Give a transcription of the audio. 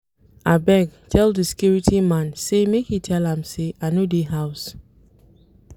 Abeg tell di security man sey make e tell am sey I no dey house.